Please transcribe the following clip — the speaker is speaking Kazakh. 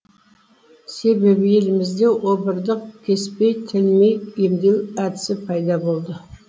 себебі елімізде обырды кеспей тілмей емдеу әдісі пайда болды